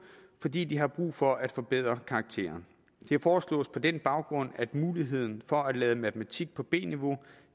fordi de havde brug for at forbedre karakteren det foreslås på den baggrund at muligheden for at lade matematik på b niveau